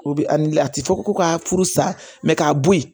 O bi a ti fɔ ko ka furu sa k'a bo yen